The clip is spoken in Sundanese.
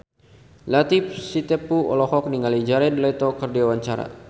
Latief Sitepu olohok ningali Jared Leto keur diwawancara